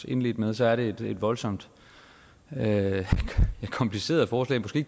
indledte med så er det et voldsomt kompliceret forslag måske